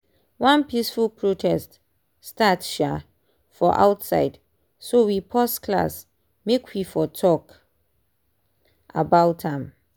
one peaceful protest start um for outside so we pause class make we for talk about am.